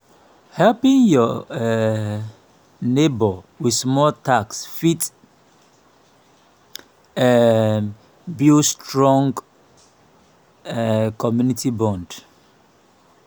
helping yur um neibor with small tasks fit um build strong um community bond.